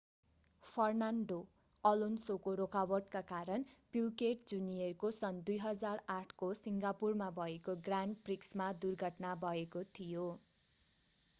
Fernando अलोन्सोको रोकावटका कारण प्युकेट जूनियरको सन् 2008 को सिङ्गापुरमा भएको ग्रान्ड प्रिक्समा दुर्घटना भएको थियो